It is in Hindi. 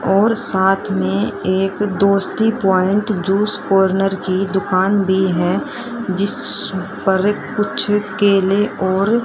और साथ में एक दोस्ती पॉइंट जूस कॉर्नर की दुकान भी है जिस पर कुछ केले और--